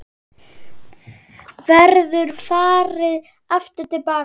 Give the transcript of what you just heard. Verður farið aftur til baka?